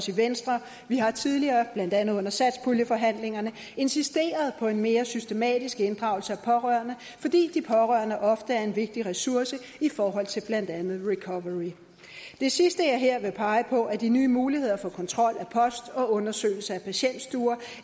venstre vi har tidligere blandt andet under satspuljeforhandlingerne insisteret på en mere systematisk inddragelse af pårørende fordi de pårørende ofte er en vigtig ressource i forhold til blandt andet recovery det sidste jeg her vil pege på de nye muligheder for kontrol af post og undersøgelse af patientstuer